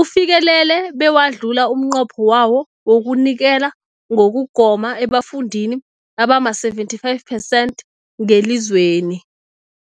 ufikelele bewadlula umnqopho wawo wokunikela ngokugoma ebafundini abama-75 phesenthi ngelizweni.